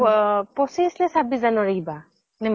পহ পঁচিছ নে ছাব্বিছ january কিবা